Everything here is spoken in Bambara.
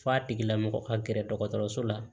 F'a tigila mɔgɔ ka gɛrɛ dɔgɔtɔrɔso la